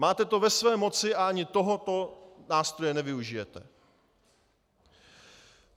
Máte to ve své moci a ani tohoto nástroje nevyužijete.